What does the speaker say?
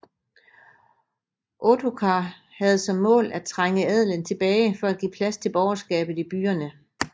Ottokar havde som mål at trænge adelen tilbage for at give plads til borgerskabet i byerne